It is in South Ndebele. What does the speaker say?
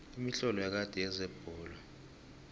imitlolo yakade yezebholo